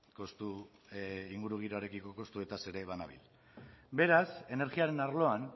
kostu ingurugiroarekiko kostuetaz ere banabil beraz energiaren arloan